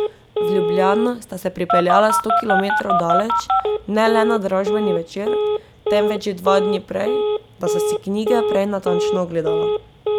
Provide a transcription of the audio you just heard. V Ljubljano sta se pripeljala sto kilometrov daleč, ne le na dražbeni večer, temveč že dva dni prej, da sta si knjige prej natančno ogledala.